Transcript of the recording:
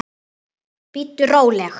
Bíddu róleg!